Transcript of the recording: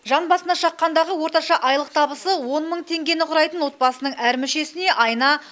жан басына шаққандағы орташа айлық табысы он мың теңгені құрайтын отбасының әр мүшесіне айына